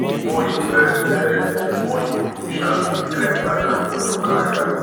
the more you learn um the more you go um fit climb ladder for your career